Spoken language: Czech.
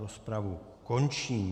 Rozpravu končím.